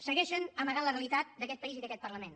segueixen amagant la realitat d’aquest país i d’aquest parlament